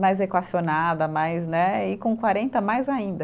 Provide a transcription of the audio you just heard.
mais equacionada mais né, e com quarenta mais ainda.